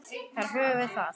Þar höfum við það.